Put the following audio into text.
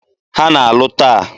Ha na-alụ taa.